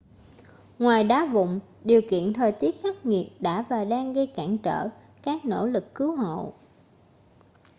ngoài đá vụn điều kiện thời tiết khắc nghiệt đã và đang gây cản trở các nỗ lực cứu hộ